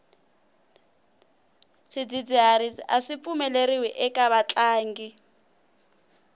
swidzidziharisi aswi pfumeleriwi eka vatlangi